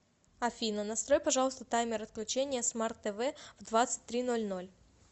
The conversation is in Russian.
афина настрой пожалуйста таймер отключения смарт тв в двадцать три ноль ноль